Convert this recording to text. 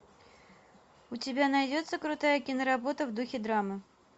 у тебя найдется крутая киноработа в духе драмы